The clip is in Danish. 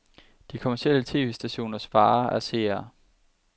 De kommercielle tv-stationers vare er seere.